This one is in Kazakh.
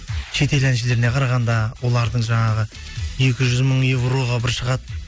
шет ел әншілеріне қарағанда олардың жаңағы екі жүз мың евроға бір шығады